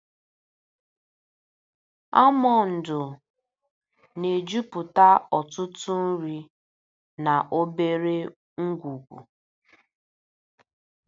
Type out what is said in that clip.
Almọndu na-ejupụta ọtụtụ nri na obere ngwugwu.